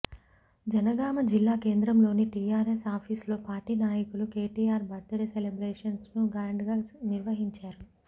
జనగామ జిల్లా కేంద్రంలోని టీఆర్ఎస్ ఆఫీసులో పార్టీ నాయకులు కేటీఆర్ బర్త్ డే సెలబ్రేషన్స్ ను గ్రాండ్ గా నిర్వహించారు